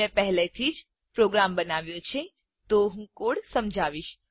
મેં પહેલેથી જ પ્રોગ્રામ બનાવ્યો છે તો હું કોડ સમજાવીશ